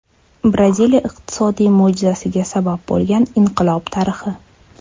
Braziliya iqtisodiy mo‘jizasiga sabab bo‘lgan inqilob tarixi.